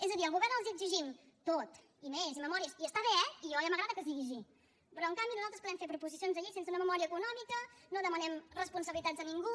és a dir al govern els exigim tot i més i memòries i està bé eh i a mi ja m’agrada que sigui així però en canvi nosaltres podem fer proposicions de llei sense una memòria econòmica no demanem responsabilitats a ningú